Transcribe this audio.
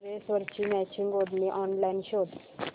ड्रेसवरची मॅचिंग ओढणी ऑनलाइन शोध